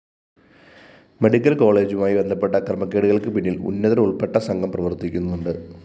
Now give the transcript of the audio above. medical കോളേജുമായി ബന്ധപ്പെട്ട ക്രമക്കേടുകള്‍ക്കു പിന്നില്‍ ഉന്നതരുള്‍പ്പെട്ട സംഘം പ്രവര്‍ത്തിക്കുന്നുണ്ട്